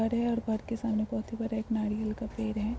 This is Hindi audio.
हरे और बर के सामने बहुत ही बड़े एक नारियल का पेड़ है।